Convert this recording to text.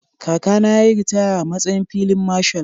Kakana ya yi ritaya a matsayin filin Marshal.